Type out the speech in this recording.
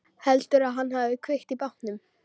Heldurðu að hann hafi kveikt í bátnum?